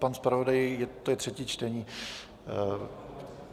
Pane zpravodaji, to je třetí čtení.